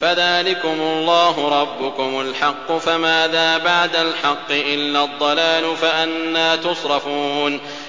فَذَٰلِكُمُ اللَّهُ رَبُّكُمُ الْحَقُّ ۖ فَمَاذَا بَعْدَ الْحَقِّ إِلَّا الضَّلَالُ ۖ فَأَنَّىٰ تُصْرَفُونَ